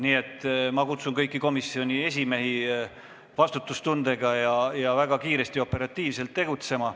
Nii et ma kutsun kõiki komisjoni esimehi vastutustundega ning väga kiiresti ja operatiivselt tegutsema.